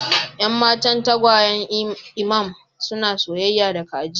Yan matan tagwayen imam suna soyayya da kaji